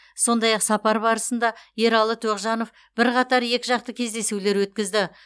сондай ақ сапар барысында ералы тоғжанов бірқатар екіжақты кездесулер өткізді